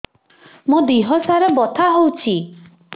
ମୋ ଦିହସାରା ବଥା ହଉଚି